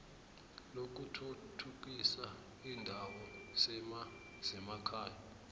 lokuthuthukisa iindawo zemakhaya